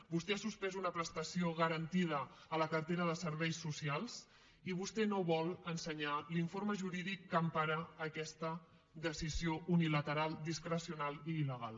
vostè ha suspès una prestació garantida a la cartera de serveis socials i vostè no vol ensenyar l’informe jurídic que empara aquesta decisió unilateral discrecional i illegal